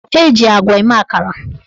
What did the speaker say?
Eji agwa eme akara.